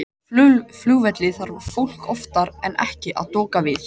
Á flugvelli þarf fólk oftar en ekki að doka við.